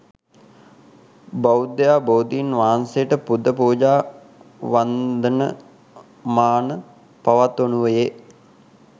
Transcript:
බෞද්ධයා බෝධීන් වහන්සේට පුද පූජා වන්දන මාන පවත්වනුයේ